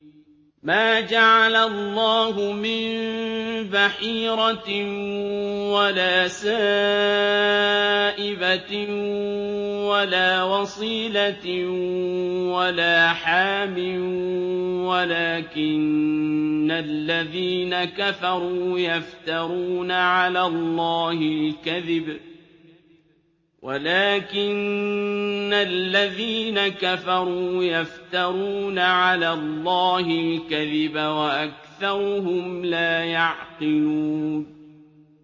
مَا جَعَلَ اللَّهُ مِن بَحِيرَةٍ وَلَا سَائِبَةٍ وَلَا وَصِيلَةٍ وَلَا حَامٍ ۙ وَلَٰكِنَّ الَّذِينَ كَفَرُوا يَفْتَرُونَ عَلَى اللَّهِ الْكَذِبَ ۖ وَأَكْثَرُهُمْ لَا يَعْقِلُونَ